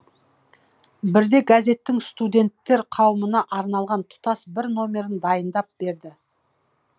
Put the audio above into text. бірде газеттің студенттер қауымына арналған тұтас бір номерін дайындап берді